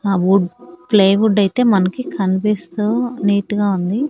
ఆ wood plywood ఐతే మనకి కన్పిస్తూ నీట్ గా ఉంది.